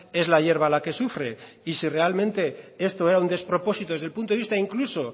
es la hierba la que sufre y si realmente esto era un despropósito desde el punto de vista incluso